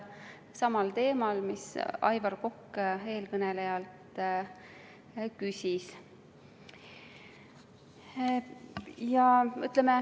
See on sama teema, mille kohta Aivar Kokk eelkõnelejalt küsis.